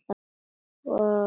Og hann hafði talað.